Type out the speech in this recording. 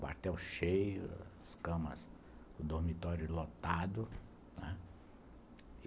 Quartel cheio, as camas, o dormitório lotado, não é?